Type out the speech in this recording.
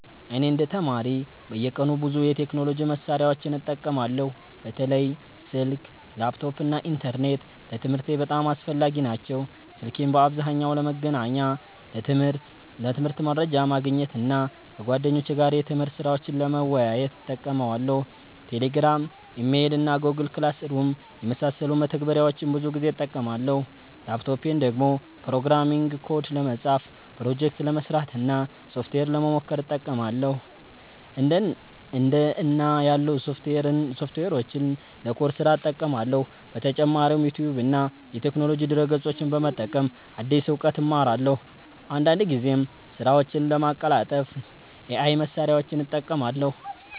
እኔ እንደ ተማሪ በየቀኑ ብዙ የቴክኖሎጂ መሳሪያዎችን እጠቀማለሁ። በተለይ ስልክ፣ ላፕቶፕ እና ኢንተርኔት ለትምህርቴ በጣም አስፈላጊ ናቸው። ስልኬን በአብዛኛው ለመገናኛ፣ ለትምህርት መረጃ ማግኘት እና ከጓደኞቼ ጋር የትምህርት ስራዎችን ለመወያየት እጠቀማለሁ። Telegram፣ Email እና Google Classroom የመሳሰሉ መተግበሪያዎችን ብዙ ጊዜ እጠቀማለሁ። ላፕቶፔን ደግሞ ፕሮግራሚንግ ኮድ ለመጻፍ፣ ፕሮጀክት ለመስራት እና ሶፍትዌር ለመሞከር እጠቀማለሁ። እንደ እና ያሉ ሶፍትዌሮችን ለኮድ ስራ እጠቀማለሁ። በተጨማሪም ዩቲዩብ እና የቴክኖሎጂ ድረ-ገጾችን በመጠቀም አዲስ እውቀት እማራለሁ። አንዳንድ ጊዜም ስራዎቼን ለማቀላጠፍ AI መሳሪያዎችን እጠቀማለሁ።